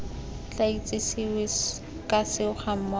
tla itsesewe ka seo gammogo